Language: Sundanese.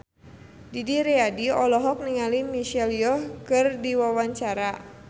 Didi Riyadi olohok ningali Michelle Yeoh keur diwawancara